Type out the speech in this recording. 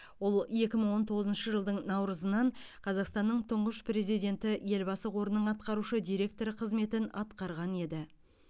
ол екі мың он тоғызыншы жылдың наурызынан қазақстанның тұңғыш президенті елбасы қорының атқарушы директоры қызметін атқарған еді